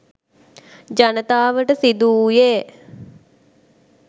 ජනතාවට සිදු වූයේ